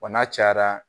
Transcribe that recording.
Wa n'a cayara